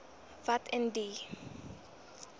wat in die